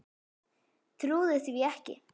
Trúði því ekki.